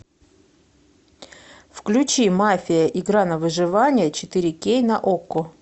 включи мафия игра на выживание четыре кей на окко